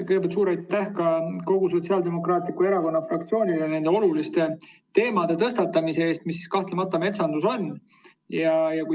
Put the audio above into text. Kõigepealt suur aitäh kogu Sotsiaaldemokraatliku Erakonna fraktsioonile selle olulise teema tõstatamise eest, mida metsandus kahtlemata on!